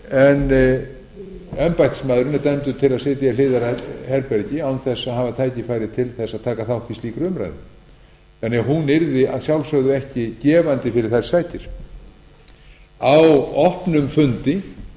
en embættismaðurinn er dæmdur til að sitja í hliðarherbergi án þess að hafa tækifæri til þess að taka þátt í slíkri umræðu þannig að hún yrði að sjálfsögðu ekki gefandi fyrir þær sakir á opnum fundi